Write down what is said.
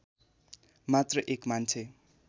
मात्र एक मान्छे